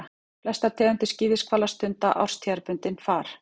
Flestar tegundir skíðishvala stunda árstíðabundið far.